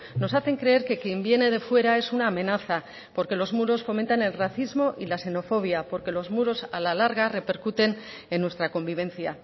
nos hacen creer que quien viene de fuera es una amenaza porque los muros fomentan el racismo y la xenofobia porque los muros a la larga repercuten en nuestra convivencia